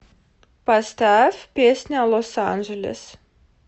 поставь песня лос анджелес